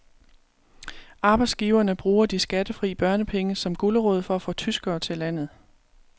Arbejdsgiverne bruger de skattefri børnepenge som gulerod for at få tyskere til landet.